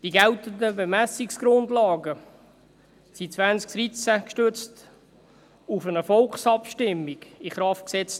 Die geltenden Bemessungsgrundlagen wurden 2013 gestützt auf eine Volksabstimmung in Kraft gesetzt.